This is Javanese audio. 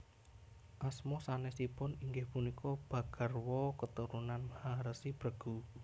Asma sanésipun inggih punika Bhagarwa Keturunan Maharesi Bregu